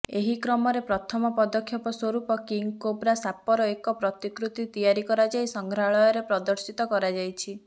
ଏହିକ୍ରମରେ ପ୍ରଥମ ପଦକ୍ଷେପ ସ୍ୱରୂପ କିଙ୍ଗ୍ କୋବ୍ରା ସାପର ଏକ ପ୍ରତିକୃତି ତିଆରି କରାଯାଇ ସଂଗ୍ରହାଳୟରେ ପ୍ରଦର୍ଶିତ କରାଯାଇଛି